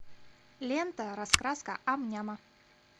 лента раскраска ам няма